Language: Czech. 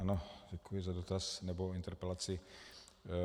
Ano, děkuji za dotaz nebo interpelaci.